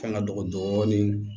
Fɛn ŋa dɔgɔ dɔɔnin